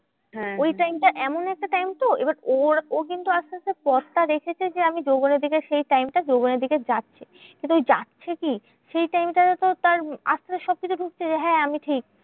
ওই time টা এমন একটা time তো এবার ওর ও কিন্তু আসতে আসতে পথটা দেখেছে যে, আমি যৌবনের দিকে সেই time টা যৌবনের দিকে যাচ্ছে। কিন্তু ওই যাচ্ছে কি? সেই time টায় তো তার আসতে আসতে সবকিছু বুঝছে যে, হ্যাঁ আমি ঠিক।